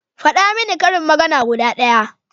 Faɗa min karin magana guda ɗaya